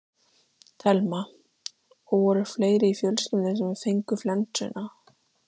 Telma: Og voru fleiri í fjölskyldunni sem fengu flensuna?